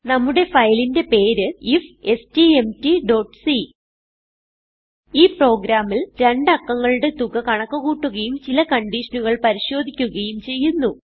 നമ്മുടെ ഫയലിന്റെ പേര് ifstmtസി ഈ പ്രോഗ്രാമിൽ രണ്ട് അക്കങ്ങളുടെ തുക കണക്ക് കൂട്ടുകയും ചില കൺഡിഷനുകൾ പരിശോധിക്കുകയും ചെയ്യുന്നു